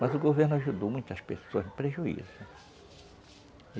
Mas o governo ajudou muitas pessoas, no prejuízo.